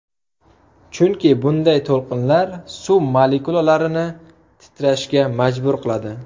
Chunki bunday to‘lqinlar suv molekulalarini titrashga majbur qiladi.